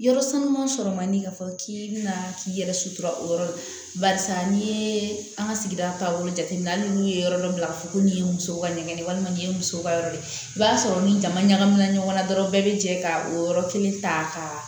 Yɔrɔ sama sɔrɔ man di k'a fɔ k'i bɛna k'i yɛrɛ sutura o yɔrɔ la barisa n'i ye an ka sigida taabolo jateminɛ hali n'u ye yɔrɔ dɔ bila ka fɔ ko nin ye muso ka nɛgɛn ye walima nin ye muso ka yɔrɔ de ye i b'a sɔrɔ ni jama ɲagamina ɲɔgɔn na dɔrɔn bɛɛ bɛ jɛ ka o yɔrɔ kelen ta ka